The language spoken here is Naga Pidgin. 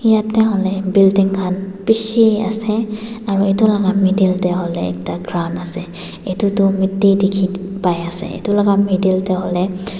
jatte hoile building khan bisi ase aru etu laga middle te hoile ekta ground ase etu tu Matti dekhi pai ase etu laga middle te hoile--